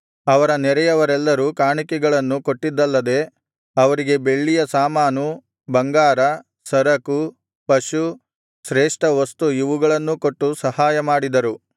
ಅವರ ನೆರೆಯವರೆಲ್ಲರೂ ಕಾಣಿಕೆಗಳನ್ನು ಕೊಟ್ಟಿದ್ದಲ್ಲದೆ ಅವರಿಗೆ ಬೆಳ್ಳಿಯ ಸಾಮಾನು ಬಂಗಾರ ಸರಕು ಪಶು ಶ್ರೇಷ್ಠವಸ್ತು ಇವುಗಳನ್ನೂ ಕೊಟ್ಟು ಸಹಾಯಮಾಡಿದರು